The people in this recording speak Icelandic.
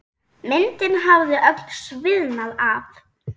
Myndin hafði öll sviðnað af.